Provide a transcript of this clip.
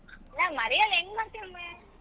ನಾ ಮರಿಯಲ್ಲಾ ಹೆಂಗ್ ಮರೀತಿನಿ.